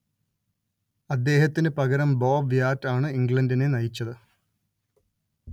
അദ്ദേഹത്തിന്‌ പകരം Bob Wyatt ആണ്‌ ഇംഗ്ലണ്ടിനെ നയിച്ചത്